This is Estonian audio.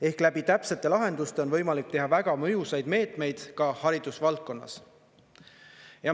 Ehk läbi täpsete lahenduste on võimalik teha väga mõjusaid meetmeid ka haridusvaldkonnas.